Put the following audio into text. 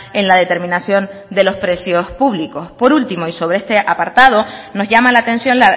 en la determinación de los precios públicos por último y sobre este apartado nos llama la atención